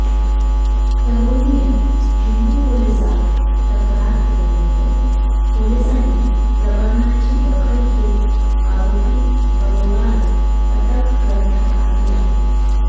तरुणीने जुहू पोलिसांत तक्रार केल्यानंतर पोलिसांनी प्रकरणाची दखल घेत आरोपी अरोराला अटक करण्यात आली आहे